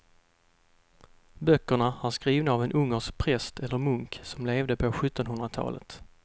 Böckerna är skrivna av en ungersk präst eller munk som levde på sjuttonhundratalet.